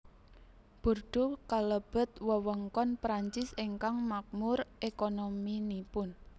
Bordeaux kalebet wewengkon Prancis ingkang makmur ékonominipun